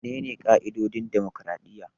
Menene ƙa'idodin dimokraɗiyya?